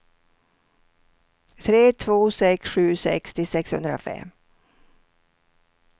tre två sex sju sextio sexhundrafem